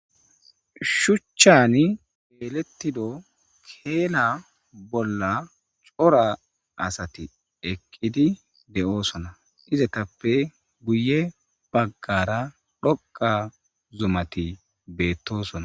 shuchchani elettido keela bolla cora asati eqqidi de7oosona izatappe guye baggara dhoqa zumati beettosona